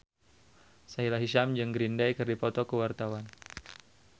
Sahila Hisyam jeung Green Day keur dipoto ku wartawan